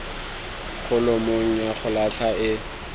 kholomong ya go latlha e